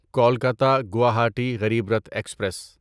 Kolkata Guwahati Garib Rath express